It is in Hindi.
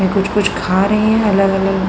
और कुछ -कुछ खा रहे है अलग -अलग --